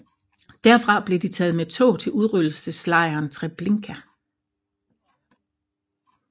Derfra blev de taget med tog til udryddelseslejren Treblinka